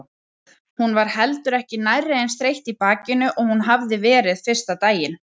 Hún var heldur ekki nærri eins þreytt í bakinu og hún hafði verið fyrsta daginn.